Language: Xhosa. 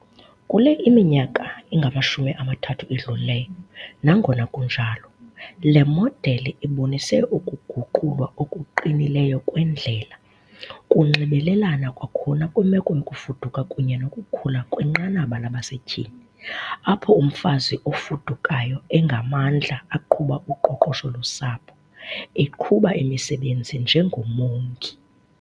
Kule iminyaka ingamashumi amathathu idlulileyo, nangona kunjalo, le modeli ibonise ukuguqulwa okuqinileyo kwendlela, kunxibelelana kwakhona kwimeko yokufuduka kunye nokukhula kwinqanaba labasetyhini, apho umfazi ofudukayo engamandla aqhuba uqoqosho losapho, eqhuba imisebenzi njengomongi.